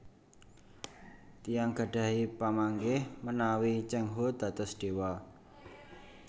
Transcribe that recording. Tiyang gadhahi pamanggih menawi Cheng Ho dados dewa